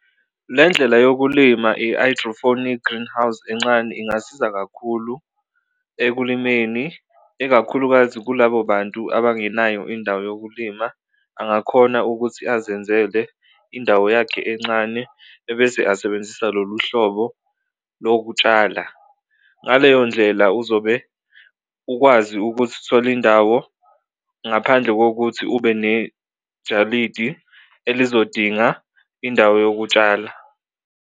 Le ndlela yokulima i-hydrophonic greenhouse encane ingasiza kakhulu ekulimeni ikakhulukazi kulabo bantu abangenayo indawo yokulima, angakhona ukuthi azenzele indawo yakhe encane ebese asebenzisa lolu hlobo lokutshala. Ngaleyo ndlela uzobe ukwazi ukuthi uthole indawo ngaphandle kokuthi ube nejalidi elizodinga indawo yokutshala.